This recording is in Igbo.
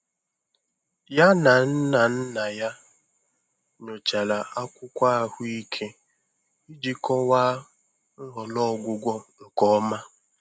Ya na nna nna ya nyochara akwụkwọ ahụike iji kọwaa nhọrọ ọgwụgwọ nke ọma.